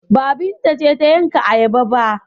Ba, Binta ce ta yanka ayaba ba?